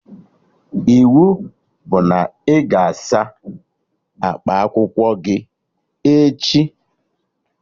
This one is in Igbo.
Ịwu bụ na ị ga-asa akpa akwụkwọ gị echi!